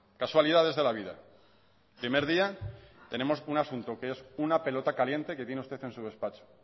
casualidades de la vida primer día tenemos un asunto que es una pelota caliente que tiene usted en su despacho